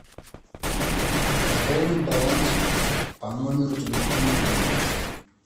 пополнить баланс по номеру телефонной книги